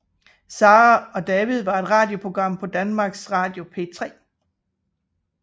Sara og David var et radioprogram på Danmarks Radio P3